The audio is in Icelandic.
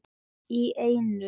Í einu!